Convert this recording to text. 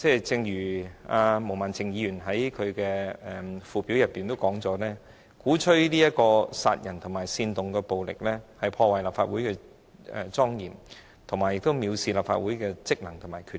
正如毛孟靜議員在她的議案附表中指出，何君堯議員在公開場合發表鼓吹殺人及煽動暴力言論，是破壞立法會的莊嚴，亦是藐視立法會的職能及權力。